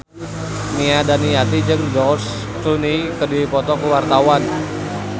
Nia Daniati jeung George Clooney keur dipoto ku wartawan